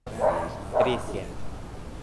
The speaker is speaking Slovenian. Res je!